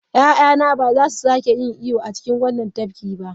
Ya'yana ba za su sake yin iyo a cikin wannan tafkin ba!